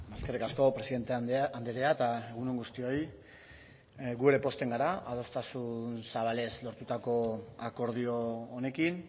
eskerrik asko presidente andrea eta egun on guztioi gu ere pozten gara adostasun zabalez lortutako akordio honekin